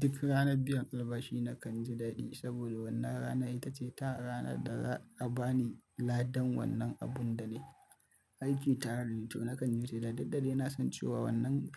Duk ranar biyan albashi nakan ji daɗi saboda wannan rana ita ce ta rana da za a bani ladan wannan abun da nai aiki tare da ita. Nakan yi shela duk da dai nasan cewa wannan